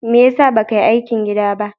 Me ya sa ba ka yi aikin gida ba?